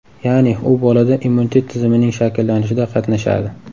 Ya’ni, u bolada immunitet tizimining shakllanishida qatnashadi.